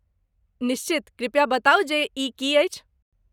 निश्चित, कृपया बताऊ जे ई की अछि?